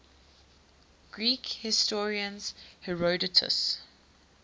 greek historian herodotus